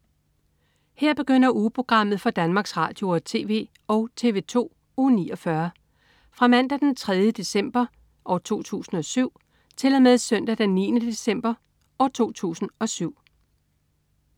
Her begynder ugeprogrammet for Danmarks Radio- og TV og TV2 Uge 49 Fra Mandag den 3. december 2007 Til Søndag den 9. december 2007